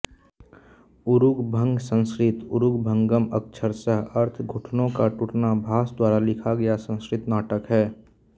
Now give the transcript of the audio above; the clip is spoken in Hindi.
उरुभंग संस्कृत ऊरुभंगम् अक्षरशः अर्थ घुटनों का टूटना भास द्वारा लिखा गया संस्कृत नाटक है